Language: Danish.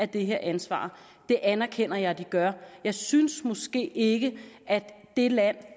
det her ansvar det anerkender jeg at de gør jeg synes måske ikke at det land